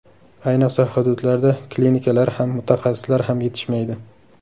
Ayniqsa, hududlarda klinikalar ham, mutaxassislar ham yetishmaydi.